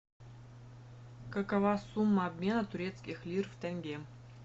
какова сумма обмена турецких лир в тенге